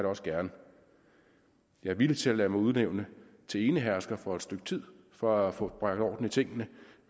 også gerne jeg er villig til at lade mig udnævne til enehersker for et stykke tid for at få bragt orden i tingene